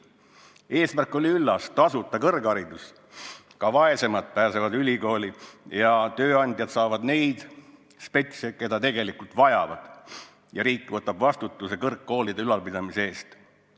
Eesmärk oli üllas: tasuta kõrgharidus, ka vaesemad pääsevad ülikooli, tööandjad saavad neid spetsialiste, keda tegelikult vajavad, ja riik võtab vastutuse kõrgkoolide ülalpidamise eest enda kanda.